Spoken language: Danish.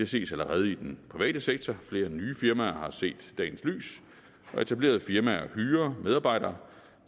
ses allerede i den private sektor flere nye firmaer har set dagens lys og etablerede firmaer hyrer medarbejdere